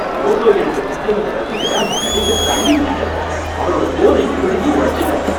photo எடுக்க கிட்ட வந்த ரசிகர அந்த நடிகர் தள்ளி விட்டுட்டாரு, அவரோட ஃபோனையும் பிடுங்கி உடைச்சுட்டாரு